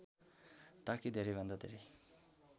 ताकि धेरैभन्दा धेरै